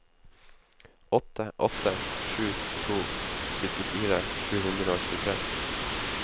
åtte åtte sju to syttifire sju hundre og tjuetre